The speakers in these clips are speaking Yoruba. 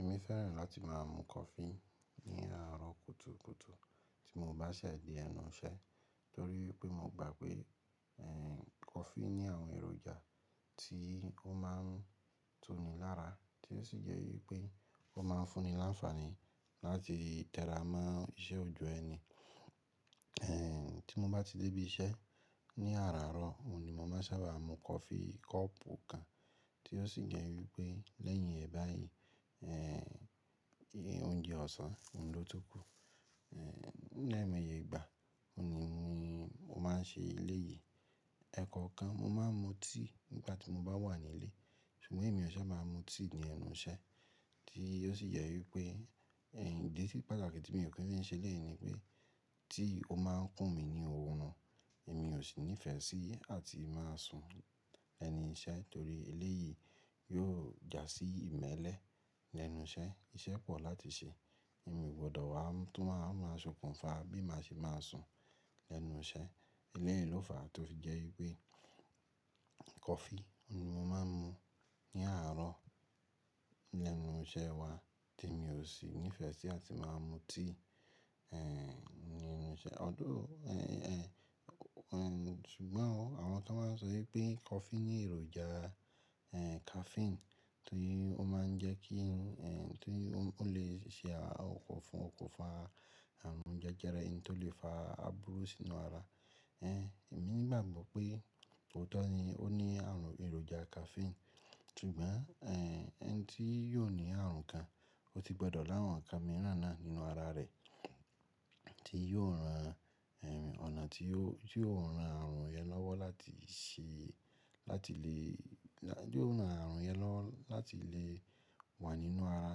Èmi fẹ́ràn láti má a mu coffee ní àárọ̀ kùtùkùtù tí mo bá se de ẹnu iṣẹ́, torí wipé mo gbà pé, ẹ́, coffee ní àwọn èròjà tí ó má a ń tu ní lára tí ó sì jẹ́ wípé ó ma ń fún ni láńfààní láti tè ra mọ́ iṣẹ́ òjọ́ ẹni. Ẹ̀, tí mo bá ti dé ibi iṣẹ́ ní àáraro, òun ni mo máa sábà mú coffee kọ́ọ̀pù kan tí ó sì jẹ́ wípé lẹ́yìn ẹ̀ bayìí, ẹ́, oúnjẹ ọ̀sán, ohun ló tu kù, ẹ́, lẹ́mọye ìgbà, òun ni mo máa ń ṣe eléyìí. Ẹ̀ẹ̀kọ̀kan mo má a mu tíì nígbà tí mo bá wà ní ilé, ṣùgbọ́n èmi ò ṣe máa mu tíì ní ẹnu iṣẹ́ tí ó sì jẹ wípé, ẹ́, ìdí sí pàtàkì tí mi ò kí ń ṣe lẹ́èní pé tíì ó máa ń kún mi ní òórùn, èmi ò sì nífẹ̀ẹ́ sí àti má a sùn ẹni iṣẹ́ torí eléyìí yóò jásí ìmẹ́lẹ́ lẹ́nu iṣẹ́, iṣẹ́ pọ̀ láti ṣe, èmi ò gbọdọ̀ wá tún máa máa s'okùn fa bí màá ṣe máa sùn lẹ́nu iṣẹ́. Eléyìí ló fàá tó fi jẹ́ wípé coffee ni mo máa ń mu ní àárọ̀ lẹ́nu iṣẹ́ wa tí mi ò sì nífẹ̀ẹ́ sí àti má a mu tíì, ẹ́, ní ẹnu iṣẹ́. Ọ̀dọ́, ẹ́, ẹ́, ṣùgbọ́n àwọn tó máa ń sọ wípé coffee ní èròjà, ẹ́, caffeine tí ó máa ń jẹ́ kí i, ẹ́, tí ó lè ṣe àkọfún oko fa àrùn jẹjẹrẹ ẹni tó lè fa àbúrú sínú ara. Ẹ́, èmi ni mo gbàgbọ́ pé òótọ́ ni ó ní àrùn èròjà caffeine, ṣùgbọ́n, ẹ́, ẹni tí yóò ní àrùn kan, ó ti gbọdọ̀ láwọn nkan miiràn náà nínú ara rẹ̀ tí yóò ran, ẹ́, ọ̀nà tí yóò ran àrùn yẹn lọ́wọ́ láti ṣe, láti lè, láti yóò ran àrùn yẹn lọ́wọ́ láti lè wà nínú ara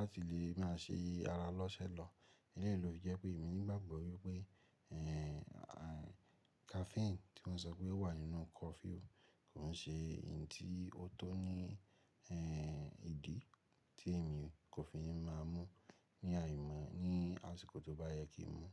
láti lè má ṣe ara lọ́sẹ́ lọ. Eléyìí ló jẹ́ pé èmi ni mo gbàgbọ́ wípé, ẹ́, caffeine tí wọ́n sọ pé wà nínú coffee òun kò ṣe ẹni tí ó tó ní, ẹ́, ìdí tí èmi kò fi máa mú ní àìmọ́ ní àsìkò tí ó bá yẹ kí n mú.